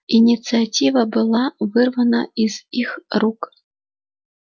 инициатива была вырвана из их рук